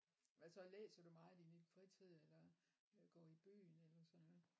Hvad så læser du meget i din fritid eller øh går i byen eller sådan noget